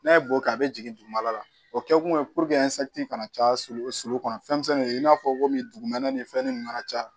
N'a ye bo kɛ a bɛ jigin dugumala la o kɛkun ye kana caya sulu kɔnɔ fɛn misɛnnin de ye i n'a fɔ komi dugumɛnɛ ni fɛnnin ninnu kana caya